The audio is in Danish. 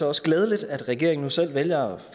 også glædeligt at regeringen nu selv vælger